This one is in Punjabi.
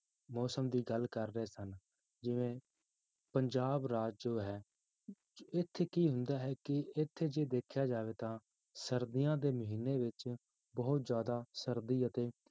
ਮੌਸਮ ਦੀ ਗੱਲ ਕਰ ਰਹੇ ਸਨ, ਜਿਵੇਂ ਪੰਜਾਬ ਰਾਜ ਜੋ ਹੈ ਇੱਥੇ ਕੀ ਹੁੰਦਾ ਹੈ ਕਿ ਇੱਥੇ ਜੇ ਦੇਖਿਆ ਜਾਵੇ ਤਾਂ ਸਰਦੀਆਂ ਦੇ ਮਹੀਨੇ ਵਿੱਚ ਬਹੁਤ ਜ਼ਿਆਦਾ ਸਰਦੀ ਅਤੇ